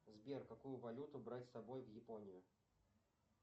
сбер какую валюту брать с собой в японию